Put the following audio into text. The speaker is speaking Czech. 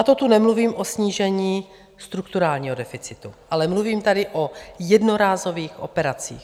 A to tu nemluvím o snížení strukturálního deficitu, ale mluvím tady o jednorázových operacích.